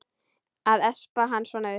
Að espa hann svona upp!